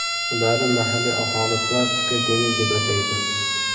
Ularni mahalliy aholi plastikli dengiz deb ataydi.